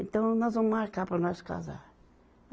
Então nós vamos marcar para nós casar.